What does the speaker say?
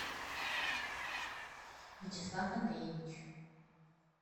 вячеслав андреевич